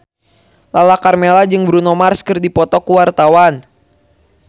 Lala Karmela jeung Bruno Mars keur dipoto ku wartawan